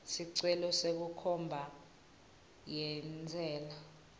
sicelo senkhomba yentsela